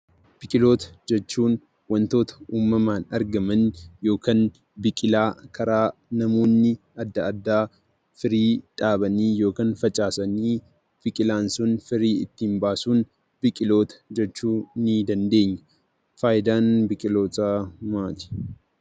Biqiltoota jechuun wantoota uumamaan argaman yookiin namoonni adda addaa sanyii biqilaa dhaabanii yookiin facaasanii, biqilaan sun guddatun biqiltoota jechuu ni dandeenya. Faayidaan biqiltootaa maali?